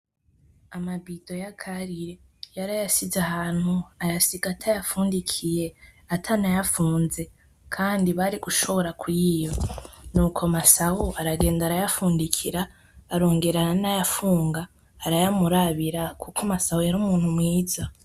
Amabido ya Karire yarayasize ahantu ayasiga atayafundikiye atanayafunze kandi bari gushobora kuyiba. Nuko Masabo aragenda arayafundikira arongera aranayafunga arayamurabira kuko Masabo yari umuntu mwiza.